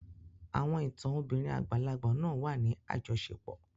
Àwọn ìtàn obìnrin àgbàlagbà náà wà ní àjọṣepọ̀.